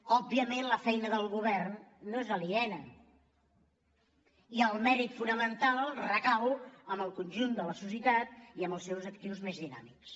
òbviament la feina del go·vern no n’és aliena i el mèrit fonamental recau en el conjunt de la societat i en els seus actius més dinà·mics